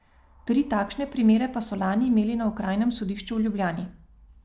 Tri takšne primere pa so lani imeli na okrajnem sodišču v Ljubljani.